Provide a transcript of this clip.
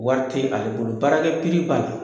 Wari te ale bolo, baarakɛ piri b'a la.